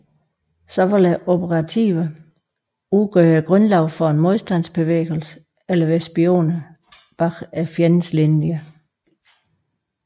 Så vil operativerne udgøre grundlaget for en modstandsbevægelse eller være spioner bag fjendens linjer